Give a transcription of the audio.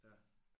Ja